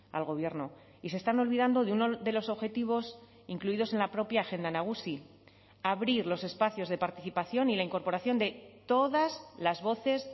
al gobierno y se están olvidando de uno de los objetivos incluidos en la propia agenda nagusi abrir los espacios de participación y la incorporación de todas las voces